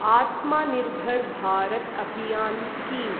आत्मा निर्भर् भारत् अभियान् स्कीम्